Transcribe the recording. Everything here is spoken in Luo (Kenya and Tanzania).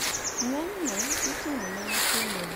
Ng`enyne itimo ne nyithindo mapod tindo mapok opong`